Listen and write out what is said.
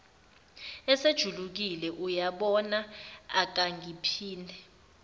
eselijulukile uyabona akungaphinde